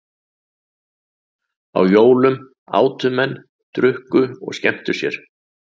Á jólum átu menn, drukku og skemmtu sér.